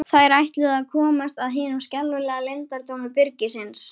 Þær ætluðu að komast að hinum skelfilega leyndardómi byrgisins.